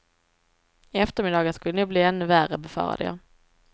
Eftermiddagen skulle nog bli ännu värre, befarade jag.